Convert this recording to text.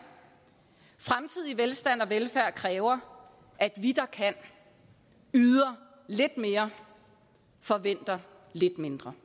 fremtidig velstand og velfærd kræver at vi der kan yder lidt mere og forventer lidt mindre